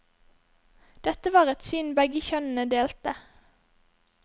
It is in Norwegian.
Dette var et syn begge kjønnene delte.